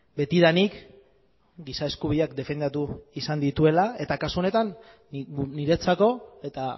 betidanik giza eskubideak defendatu izan dituela eta kasu honetan niretzako eta